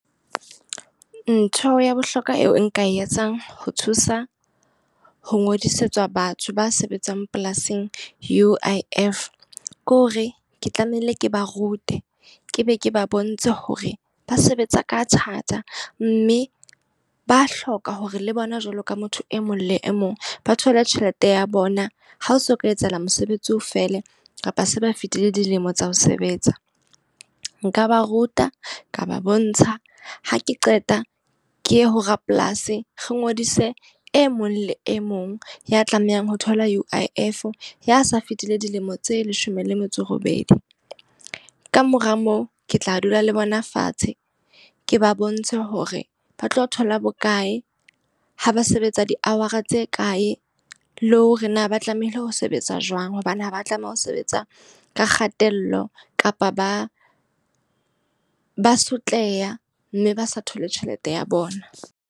Ntho ya bohlokwa eo nka e etsang ho thusa ho ngodisetsa batho ba sebetsang polasing U_I_F. Ke hore ke tlamehile ke ba rute, ke be ke ba bontshe hore ba sebetsa ka thata mme ba hloka hore le bona jwalo ka motho e mong le e mong ba thole tjhelete ya bona ha ho so ka etsahala mosebetsi o fele, kapa se ba fetile dilemo tsa ho sebetsa. Nka ba ruta, ka ba bontsha, ha ke qeta ke ye ho rapolasi re ngodise e mong le e mong ya tlamehang ho thola U_I_F, ya sa fetile dilemo tse leshome le metso e robedi. Ka mora moo ke tla dula le bona fatshe, ke ba bontshe hore ba tlo thola bokae, ha ba sebetsa di-hour tse kae, le hore na ba tlamehile ho sebetsa jwang hobane ha ba tlameha ho sebetsa ka kgatello kapa ba ba sotleha. Mme ba sa thole tjhelete ya bona.